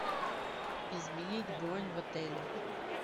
изменить бронь в отеле